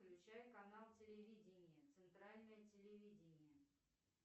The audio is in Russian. включай канал телевидение центральное телевидение